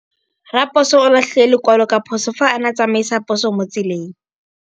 Raposo o latlhie lekwalô ka phosô fa a ne a tsamaisa poso mo motseng.